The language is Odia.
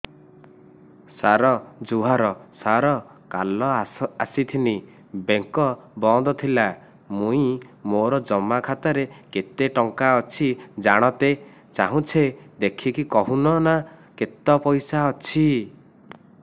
ସାର ଜୁହାର ସାର କାଲ ଆସିଥିନି ବେଙ୍କ ବନ୍ଦ ଥିଲା ମୁଇଁ ମୋର ଜମା ଖାତାରେ କେତେ ଟଙ୍କା ଅଛି ଜାଣତେ ଚାହୁଁଛେ ଦେଖିକି କହୁନ ନା କେତ ପଇସା ଅଛି